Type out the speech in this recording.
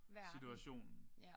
Verden ja